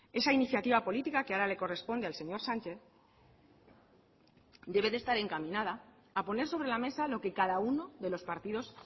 esa iniciativa política que ahora le corresponde al señor sánchez debe de estar encaminada a poner sobre la mesa lo que cada uno de los partidos